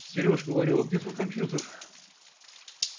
серёж говорю а где твой компьютер